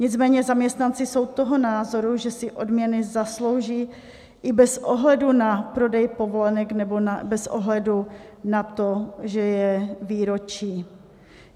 Nicméně zaměstnanci jsou toho názoru, že si odměny zaslouží i bez ohledu na prodej povolenek nebo bez ohledu na to, že je výročí.